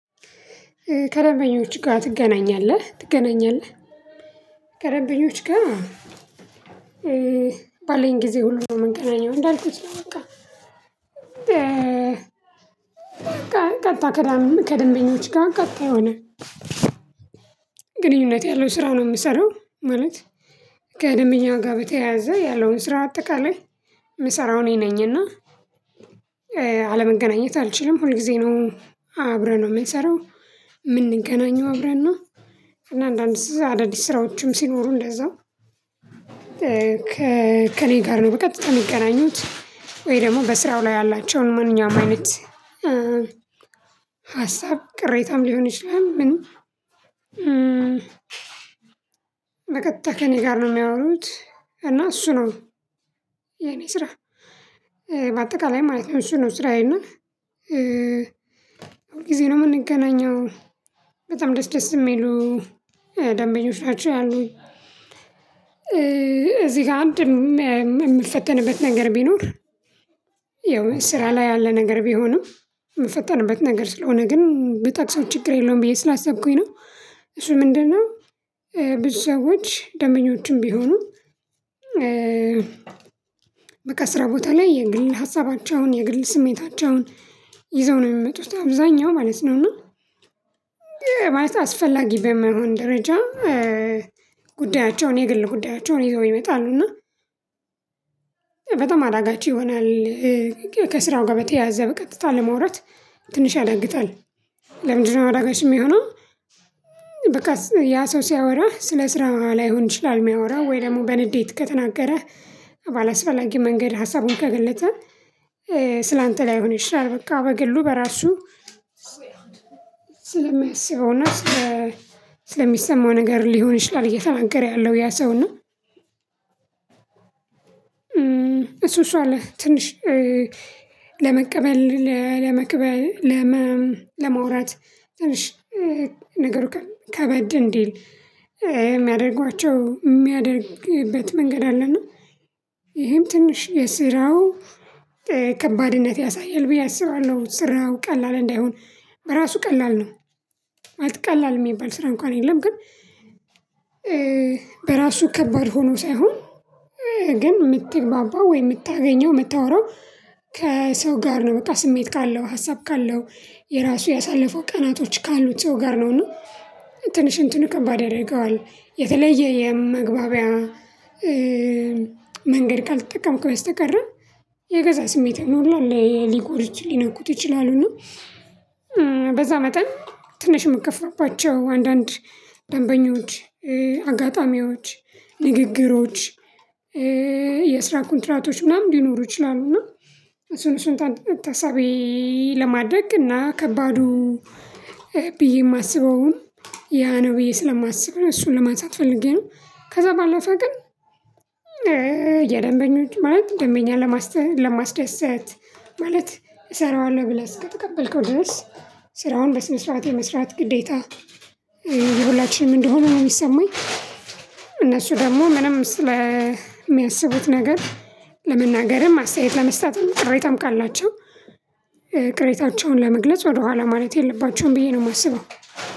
ከደበኞች ጋር ትገናኛለህ ትገናኛለህ ከደበኞች ጋር። ባለኝ ጊዜ ሁሉ ነው የምገናኘው እንዳልኩት ነው በቃ። ቀጥታ ከደንበኛች ከደንበኞች ጋር ቀጥታ የሆነ ግንኙነት ያለው ስራ ነው የምሰራው። ማለት ከደንበኛ ጋር በተያያዘ ያለውን ስራ አጠቃላይ የምሰራው እኔ እና። አለመገናኘት አልችልም ሁል ጊዜ ነው አብረን ነው የምንሰራው የምንገናኘው አብረን ነው። እና አንዳንድ ኣዳዲስ ስራዎችም ሲኖሩ እንደዛው ከእኔ ጋር ነው በቀጥታ የሚገናኙት። ወይ ደግሞ በስራው ላይ ያላቸውን ማንኛውም አይነት ሀሳብ ቅሬታም ሊሆን ይችላል። ምንም በቀጥታ ከእኔ ጋር ነው የሚያወሩት። እና እሱ ነው የኔ ስራ በአጠቃላይ ማለት ነው። እሱ ነው ስራዬን እና ሁል ጊዜ ነው የምንገናኘው በጣም ደስ ደስ የሚሉ ደንበኞች ነው ያሉኝ እዚህ ጋ አንድ የምፈተንበት ነገር ቢኖር። ያው ስራ ላይ ያለ ነገር ቢሆንም የምፈጠርበት ነገር ስለሆነ ግን ብጠቅሰው ችግር የለውም ብዬ ስላሰብኩኝ ነው። እሱ ምንድነው? ብዙ ሰዎች ደንበኞችም ቢሆኑ በቃ ስራ ቦታ ላይ የግል ሀሳባቸውን የግል ስሜታቸውን ይዘው ነው የሚመጡት አብዛኛው ማለት ነው። እና ማለት አስፈላጊ በማይሆን ደረጃ ጉዳያቸውን የግል ጉዳያቸውን ይዘው ይመጣሉ እና በጣም አዳጋች ይሆናል። ከስራው ጋር በተያያዘ በቀጥታ ለመውራት ትንሽ ያዳግታል። ያ ሰው ሲያወራ ስለ ስራ ላይሆን ይችላል የሚያወራው ወይ ደግሞ በንዴት ከተናገረህ ባላስፈላጊ መንገድ ሀሳቡን ከገለጸ ስላንተ ላይሆን ይሻላል በቃ በግሉ በራሱ ስለሚያስበው ስለሚሰማው ነገር ሊሆን ይችላል እየተናገረ ያለው ያ ሰው ነው። እሱ እሱ አለ ትንሽ ለመቀበል ለመቀበል ለመውራት ትንሽ ነገሩ ከበድ እንዲል የሚያደርጓቸው የሚያደርግበት መንገድ አለን። ይሄም ትንሽ የስራው ከባድነት ያሳያል ብዬ አስባለሁ። ስራው ቀላል እንዳይሆን በራሱ ቀላል ነው ማለት ቀላል የሚባል ስራ እንኳን የለም። ግን በራሱ ከባድ ሆኖ ሳይሆን ግን የምትግባባው ወይ የምታገኘው የምታወራው ከሰው ጋር ነው በቃ ስሜት ካለው ሀሳብ ካለው የራሱ ያሳለፉ ቀናቶች ካሉት ሰው ጋር ነው። እና ትንሽ እንትን ከባድ ያደርገዋል የተለየ የመግባቢያ መንገድ ቃል ተጠቅሞ በስተቀር የገዛ ስሜት ነው ሁሉን ላይ ሊጎዱት ሊነኩት ይችላሉ። በዛ መጠን ትንሽ የምትከፋባቸው አንዳንድ ደንበኞች አጋጣሚዎች ንግግሮች የስራ ኮንትራቶች ምናምን ሊኖሩ ይችላሉ። እና እሱን እሱን ታሳቢ ለማድረግ እና ከባዱ ብዬ የማስበውም ያ ነው ብዬ ስለማስብ ነው። እሱን ለማንሳት ፈልጌ ነው ከዛ ባለፈ ግን የደንበኞች ማለት ደንበኛ ለማስደሰት ማለት እሰራዋለሁ ብለህ እስከተቀበልከው ድረስ ስራውን በስመ ስርዓት የመስራት ግዴታ የሁላችንም እንደሆነ ነው የሚሰማኝ። እነሱ ደግሞ ምንም ስለሚያስቡት የሚያስቡት ነገር ለመናገርም አስተያየት ለመስጠትም ቅሬታም ካላቸው ቅሬታቸውን ለመግለጽ ወደኋላ ማለት የለባቸውም ብዬ ነው የማስበው።